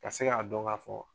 Ka se ka dɔn ka fɔ